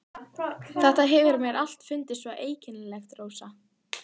Þetta hefur mér alltaf fundist svo einkennilegt, Rósa.